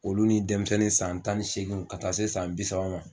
Olu ni denmisɛnnin san tan ni seeginw ka taa se san bi saba ma.